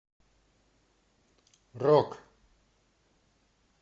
рок